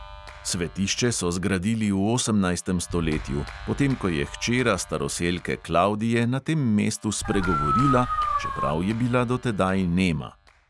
Svetišče so zgradili v osemnajstem stoletju, potem ko je hčera staroselke klavdije na tem mestu spregovorila, čeprav je bila do tedaj nema.